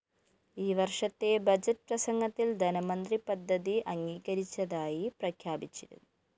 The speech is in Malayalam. ഈ വര്‍ഷത്തെ ബഡ്ജറ്റ്‌ പ്രസംഗത്തില്‍ ധനമന്ത്രി പദ്ധതി അംഗീകരിച്ചതായി പ്രഖ്യാപിച്ചിരുന്നു